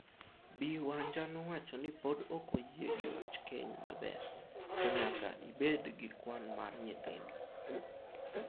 Bi Wanja nowacho ni pod ok oyie gi wach keny maber, to nyaka ibed gi kwan mar nyithindo.